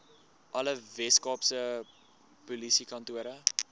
alle weskaapse polisiekantore